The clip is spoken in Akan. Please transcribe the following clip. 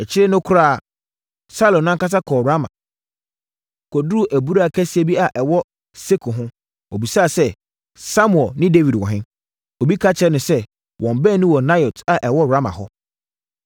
Akyire no koraa, Saulo no ankasa kɔɔ Rama, kɔduruu abura kɛseɛ bi a ɛwɔ Seku ho. Ɔbisaa sɛ, “Samuel ne Dawid wɔ he?” Obi ka kyerɛɛ no sɛ, “Wɔn baanu wɔ Naiot a ɛwɔ Rama hɔ.”